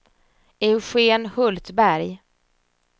Eugen Hultberg